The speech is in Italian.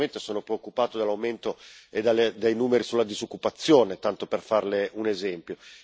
Io onestamente sono preoccupato dall'aumento e dai numeri sulla disoccupazione, tanto per farLe un esempio.